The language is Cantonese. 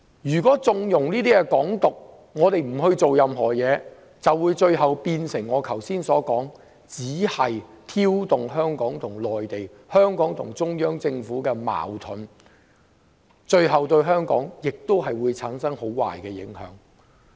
如果我們縱容"港獨"，不做任何事，如我剛才所說，只會挑動香港與中央政府的矛盾，對香港亦會產生很壞的影響。